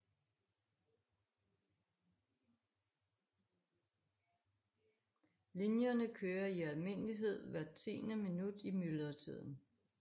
Linjerne kører i almindelighed hvert tiende minut i myldretiden